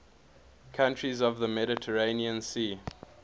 countries of the mediterranean sea